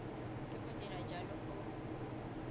ke go dira jalo go